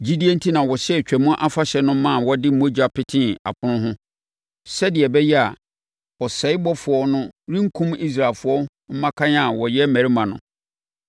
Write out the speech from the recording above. Gyidie enti na ɔhyɛɛ Twam Afahyɛ no ma wɔde mogya petee apono ho, sɛdeɛ ɛbɛyɛ a, ɔsɛebɔfoɔ no renkum Israelfoɔ mmakan a wɔyɛ mmarima no.